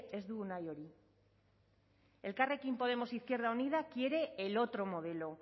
ez dugu nahi hori elkarrekin podemos izquierda unida quiere el otro modelo